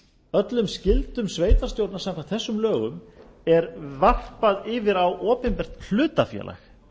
öllum skyldum sveitarstjórna samkvæmt þessum lögum er varpað yfir á opinbert hlutafélag